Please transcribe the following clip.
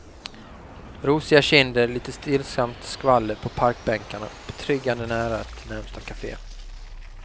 Rosiga kinder, litet stillsamt skvaller på parkbänkarna och betryggande nära till närmaste café.